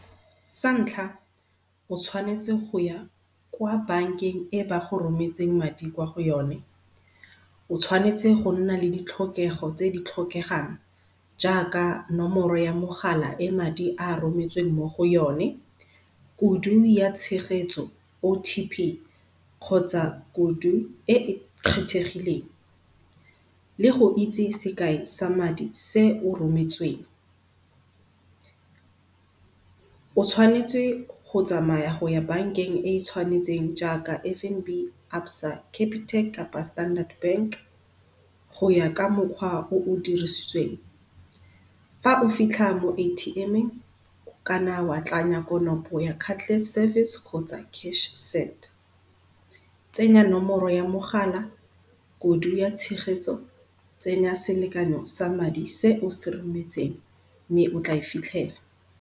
Sa ntlha o tshwanetse go ya kwa bankeng e ba go rometseng madi kwa go yone. O tshwanetse go nna le di tlhokego tse di tlhokegang jaaka nomoro ya mogala e madi a rometsweng mo go yone, kudu ya tshegetso O_T_P, kgotsa kudu e e kgethegileng le go itse sekai sa madi se o rometsweng. O tshwanetse go tsamaya go ya bankeng e tshwanetseng jaaka F_N_B, ABSA, CAPITEC kapa Standard bank, goya ka mokgwa o o dirisitsweng. Fa o fitlha mo atm-eng o ka na wa tlanya konopo ya cardless service kgotsa cash send. Tsenya nomoro ya mogala, kudu ya tshegetso, tsenya selekano sa madi se o se rometseng mme o tla e fitlhela.